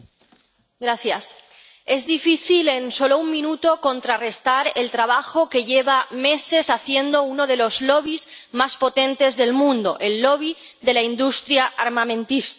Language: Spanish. Señor presidente, es difícil en solo un minuto contrarrestar el trabajo que lleva meses haciendo uno de los lobbies más potentes del mundo el lobby de la industria armamentística.